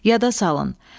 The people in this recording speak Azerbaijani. Yada salın.